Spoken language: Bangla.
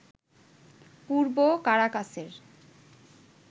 পূর্ব কারাকাসের